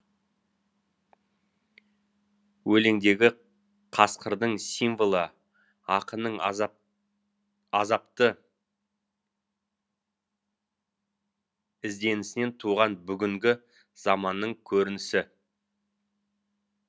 өлеңдегі қасқырдың символы ақынның азапты ізденісінен туған бүгінгі заманның көрінісі